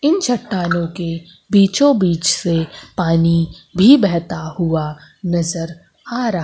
इन चटानों के बीचों बीच से पानी भी बहता हुआ नजर आ रहा।